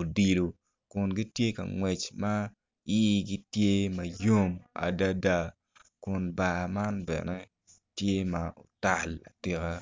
odilo kun gitye ka ngwec man igi tye ma yom adada kun bar man bene tye ma otal atika.